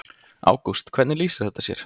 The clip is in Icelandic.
Ágúst: Hvernig lýsir þetta sér?